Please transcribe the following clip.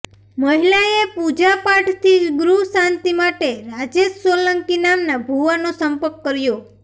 મહિલાએ પૂજાપાઠથી ગૃહશાંતિ માટે રાજેશ સોલંકી નામના ભુવાનો સંપર્ક કર્યો